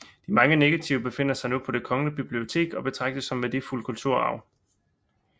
De mange negativer befinder sig nu på Det Kongelige Bibliotek og betragtes som værdifuld kulturarv